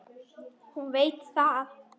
Hún veit það.